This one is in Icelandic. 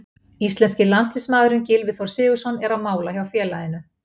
Íslenski landsliðsmaðurinn Gylfi Þór Sigurðsson er á mála hjá félaginu.